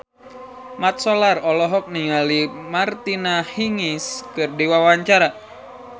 Mat Solar olohok ningali Martina Hingis keur diwawancara